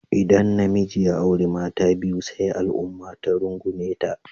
Idan namiji ya auri mata biyu sai al'umma ta rungume ta.